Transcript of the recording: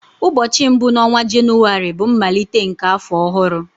Ụbọọchi mbu na onwa Jenụwarị bụ mmalite nke afọ ọhụrụ.